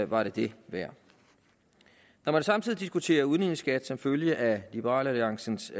var det det værd når man samtidig diskuterer udligningsskat som følge af liberal alliances